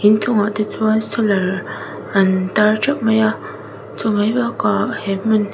inchung ah te chuan solar an tar theuh mai a chu mai bakah he hmun--